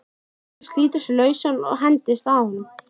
Kolur slítur sig lausan og hendist að honum.